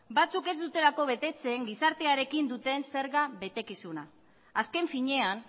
batzuk ez dutelako betetzen gizartearekin duten zerga betekizuna azken finean